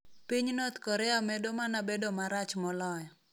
Piny North Korea medo mana bedo marach moloyo.